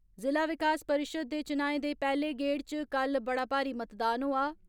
जिला विकास परिषद दे चुनाएं दे पैहले गेड़ च कल बड़ा भारी मतदान होआ।